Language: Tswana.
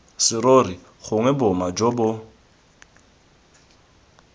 serori gongwe boma jo bo